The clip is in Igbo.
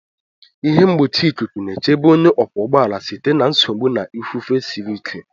ihe mgbochi ikuku na-echebe onye ọkwọ ụgbọ ala site na nsogbu na ifufe siri ike.